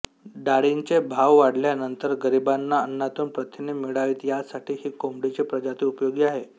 डाळींचे भाव वाढल्यानंतर गरिबांना अन्नातून प्रथिने मिळावीत यासाठी ही कोंबडीची प्रजाती उपयोगी आहे